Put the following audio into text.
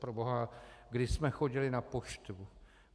Proboha, kdy jsme chodili na poštu?